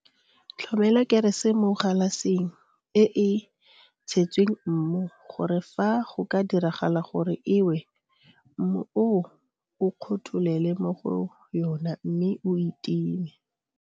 Tlhomela kerese mo galaseng e e tshetsweng mmu gore fa go ka diragala gore e we mmu oo o kgotholele mo go yona mme o e time.